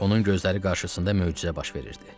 Onun gözləri qarşısında möcüzə baş verirdi.